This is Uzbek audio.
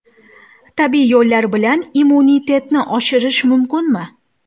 Tabiiy yo‘llar bilan immunitetni oshirish mumkinmi?.